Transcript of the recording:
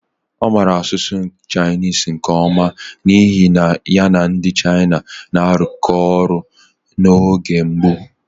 Ọ maara asụsụ Chinese nke ọma n'ihi na ya na ndị China na-arụkọ ọrụ n'oge mbụ.